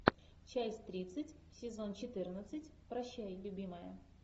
часть тридцать сезон четырнадцать прощай любимая